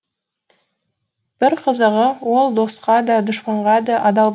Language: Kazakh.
бір қызығы ол досқа да дұшпанға да адал